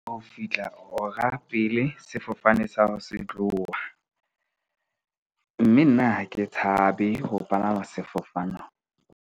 Ho fihla hora pele sefofane sa hao se tloha, mme nna ha ke tshabe ho palama sefofano.